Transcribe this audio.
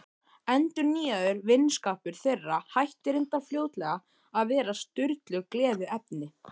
Endurnýjaður vinskapur þeirra hætti reyndar fljótlega að vera Sturlu gleðiefni.